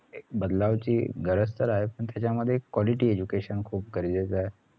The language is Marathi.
बदलवची गरज तर आहे पण त्याच्यामध्ये quality education खूप गरजेचं ए